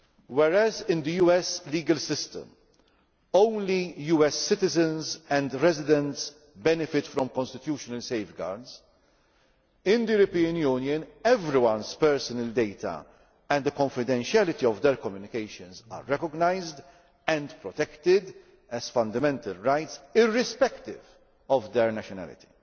Whereas in the US legal system only US citizens and residents benefit from constitutional safeguards, in the European Union everyone's personal data and the confidentiality of their communications are recognised and protected as fundamental rights, irrespective of their nationality.